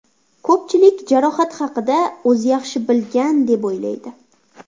Ko‘pchilik jarohati haqida o‘zi yaxshi bilgan deb o‘ylaydi.